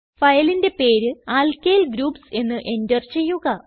ഫയലിന്റെ പേര് alkyl groups എന്ന് എന്റർ ചെയ്യുക